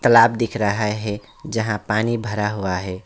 तलाब दिख रहा हैं जहां पानी भरा हुआ है।